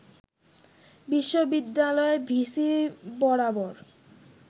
বিশ্ববিদ্যালয়ের ভিসি বরাবর